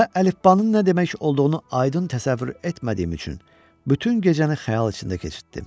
Və əlifbanın nə demək olduğunu aydın təsəvvür etmədiyim üçün bütün gecəni xəyal içində keçirtdim.